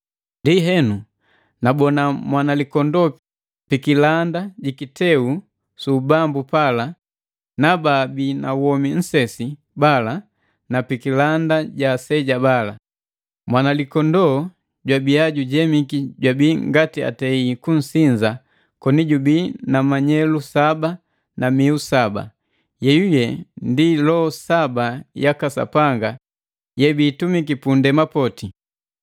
Ndienu nabona Mwanalikondoo pi kilanda ji kiteu su ubambu pala na babii na womi nsesi bala na pikilanda ja aseja bala. Mwanalikondoo jwabia jujemiki jwabii ngati atei kunsinza koni jubii na manyelu saba na miu saba, yeyuye ndi loho saba yaka Sapanga yebiitumiki pundema poti.